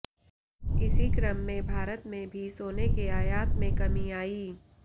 इसी क्रम में भारत में भी सोने के आयात में कमी आई